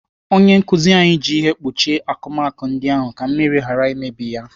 Onye nkụzi anyị ji ihe kpuchie n'akụmakụ ndị ahụ ka mmiri ghara imebi ya.